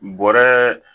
Bɔrɛ